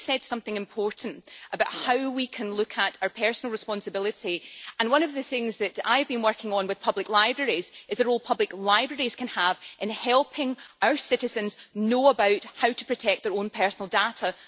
But you said something important about how we can look at our personal responsibility, and one of the things I have been working on with public libraries is the role public libraries can have in helping our citizens know about how to protect their own personal data.